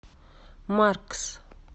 маркс